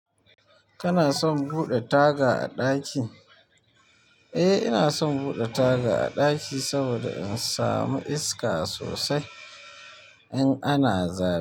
Kana son ɓoɗe taga a ɗaki? Eh ina son buɗe taga a ɗaki saboda in samu iska sosai in ana zafi.